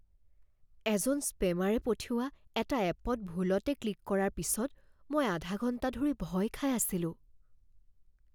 এজন স্পেমাৰে পঠিওৱা এটা এপত ভুলতে ক্লিক কৰাৰ পিছত মই আধা ঘণ্টা ধৰি ভয় খাই আছিলোঁ।